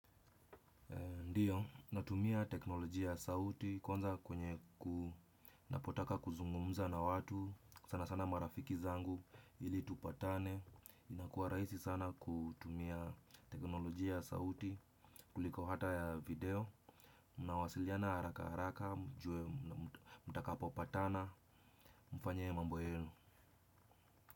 Ndiyo, natumia teknolojia sauti kwanza kwenye kunapotaka kuzungumuza na watu. Sana sana marafiki zangu ili tupatane. Inakua raisi sana kutumia teknolojia sauti kuliko hata ya video. Unawasiliana haraka haraka, mjue mutakapo patana, mfanyee mambo yenu.